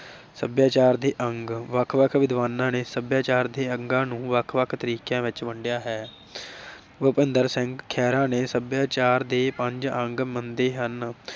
ਸਭਿਆਚਾਰ ਦੇ ਅੰਗ, ਵੱਖ ਵੱਖ ਵਿਦਵਾਨਾਂ ਨੇ ਸਭਿਆਚਾਰ ਦੇ ਅੰਗਾਂ ਨੂੰ ਵੱਖ ਵੱਖ ਤਰੀਕਿਆਂ ਵਿਚ ਵੰਡਿਆ ਹੈ। ਭੁਪਿੰਦਰ ਸਿੰਘ ਖਹਿਰਾ ਨੇ ਸਭਿਆਚਾਰ ਦੇ ਪੰਜ ਅੰਗ ਮੰਨੇ ਹਨ।